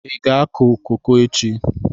Ị ga-akụ koko echi?